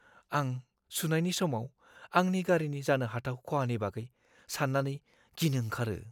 आं सुनायनि समाव आंनि गारिनि जानो हाथाव खहानि बागै सान्नानै गिनो ओंखारो।